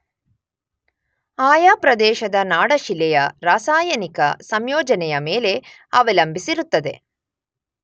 ಆಯಾ ಪ್ರದೇಶದ ನಾಡಶಿಲೆಯ ರಾಸಾಯನಿಕ ಸಂಯೋಜನೆಯ ಮೇಲೆ ಅವಲಂಬಿಸಿರುತ್ತದೆ.